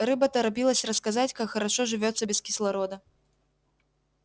рыба торопилась рассказать как хорошо живётся без кислорода